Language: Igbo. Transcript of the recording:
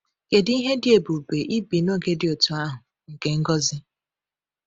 Kedu ihe dị ebube ibi n’oge dị otú ahụ nke ngọzi!